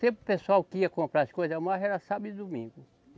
Sempre o pessoal que ia comprar as coisas mais era sábado e domingo.